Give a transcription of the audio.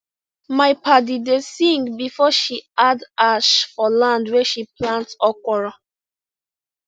my padi da sing before she add ash for land wey she plant okra